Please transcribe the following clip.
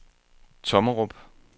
Tommerup